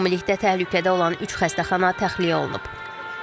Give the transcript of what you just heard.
Ümumilikdə təhlükədə olan üç xəstəxana təxliyə olunub.